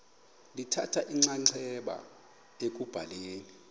lithatha inxaxheba ekubhaleni